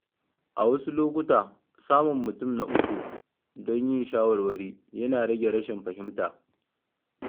A wasu lokuta, samun mutum na uku don yin shawarwari yana rage rashin fahimta.